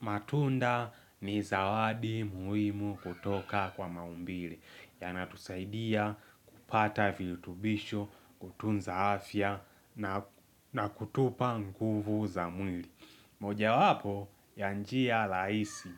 Matunda ni zawadi muhimu kutoka kwa maumbile, yanatusaidia kupata virutubisho, kutunza afya, na kutupa nguvu za mwili. Moja wapo, ya njia rahisi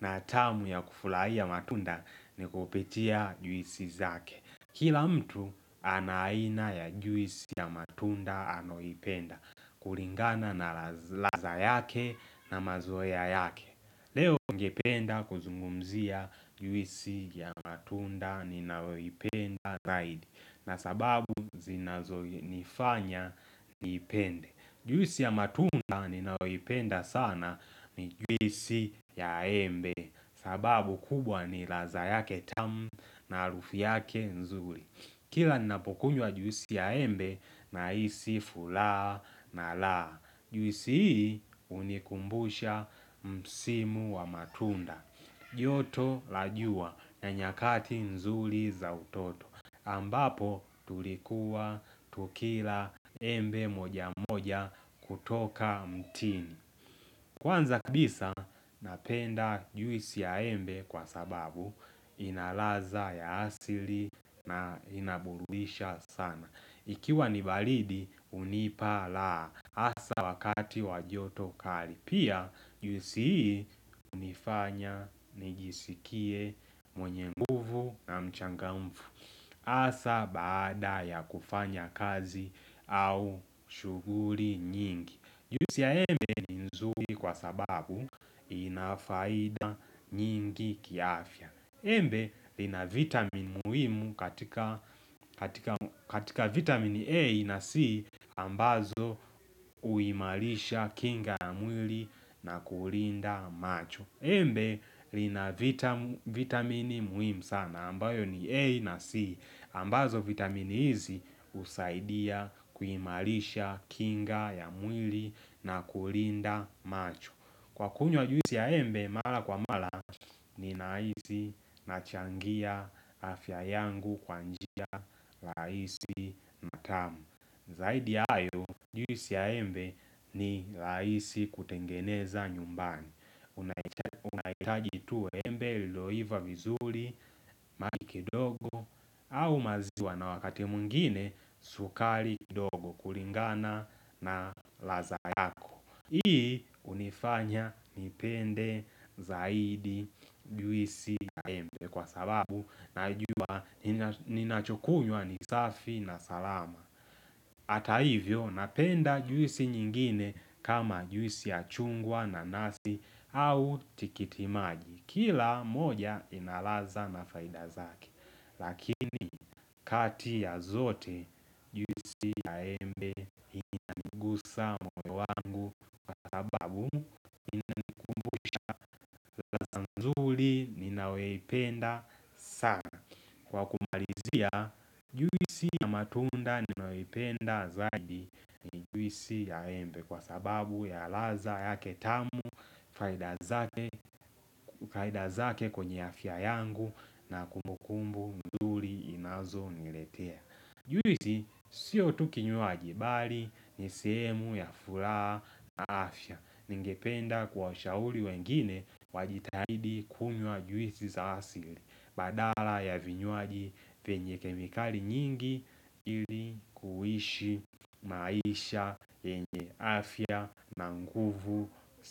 na tamu ya kufurahia matunda ni kupitia juisi zake. Kila mtu ana aina ya juisi ya matunda anayoipenda kulingana na ladha yake na mazoea yake Leo ningependa kuzungumzia juisi ya matunda ninayoipenda zaidi na sababu zinazo nifanya niipende. Juisi ya matunda ninayoipenda sana ni juisi ya embe sababu kubwa ni ladha yake tamu na harufu yake nzuri Kila ninapokunywa juisi ya embe nahisi furaha nalala Juisi hii hunikumbusha msimu wa matunda. Joto la jua na nyakati nzuri za utoto ambapo tulikuwa tukila embe moja moja kutoka mtini Kwanza kabisa napenda juisi ya embe kwa sababu ina ladha ya asili na inaburudisha sana ikiwa ni baridi hunipa raha hasa wakati wa joto kali. Pia juisi hii hunifanya nijisikie mwenye nguvu na mchangamfu Hasa baada ya kufanya kazi au shughuli nyingi. Juisi ya embe ni nzuri kwa sababu ina faida nyingi kiafya. Embe ina vitamin muhimu katika katika vitamin A na C ambazo huimarisha kinga ya mwili na kulinda macho Embe li na vitamin muhimu sana ambayo ni A na C ambazo vitamin hizi husaidia kuimarisha kinga ya mwili na kulinda macho. Kwa kunywa juisi ya embe Mara kwa mara Ninahisi nachangia afya yangu kwa njia rahisi na tamu. Zaidi ya hayo, Juisi ya embe ni rahisi kutengeneza nyumbani unahitaji tu embe Lililoiva vizuri, maji kidogo au maziwa na wakati mwingine, sukari ndogo kulingana na ladha yako. Hii hunifanya nipende zaidi juisi ya embe kwa sababu najua ninachokunywa ni safi na salama. Hata hivyo napenda juisi nyingine kama juisi ya chungwa nanasi au tikitimaji. Kila moja ina ladha na faida zake. Lakini kati ya zote juisi ya embe hunigusa moyo wangu Kwa sababu inanikumbusha ladha nzuri ninayoipenda sana. Kwa kumalizia Juisi ya matunda ninayoipenda zaidi Juisi ya embe Kwa sababu ya ladha yake tamu faida zake faida zake kwenye afya yangu na kumbukumbu nzuri inazo niletea. Juisi Sio tu kinywaji bali ni sehemu ya furaha na afya. Ningependa kuwashauri wengine wajitahidi kunywa juisi za asili Badala ya vinywaji vyenye kemikali nyingi ili kuishi maisha yenye afya na nguvu si la.